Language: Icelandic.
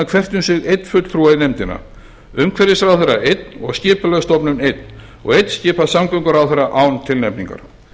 hvert um sig einn fulltrúa í nefndina umhverfisráðherra einn og skipulagsstofnun einn og einn skipar samgönguráðherra án tilnefningar